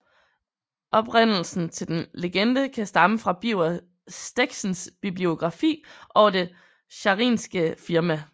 Oprindelsen til denne legende kan stamme fra Birger Steckzéns bibliografi over det Scharinska firma